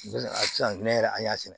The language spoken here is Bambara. A sisan yɛrɛ an y'a sɛnɛ